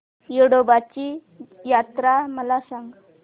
येडोबाची यात्रा मला सांग